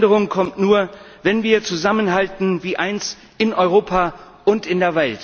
Jede Veränderung kommt nur, wenn wir zusammenhalten wie eins, in Europa und in